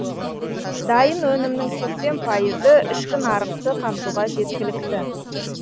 дайын өнімнің сексен пайызы ішкі нарықты қамтуға жеткілікті